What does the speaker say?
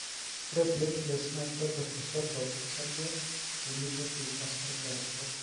ore platelets na kitobir osoto osarge pemitoki osarge aruko.